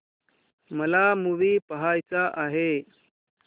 मला मूवी पहायचा आहे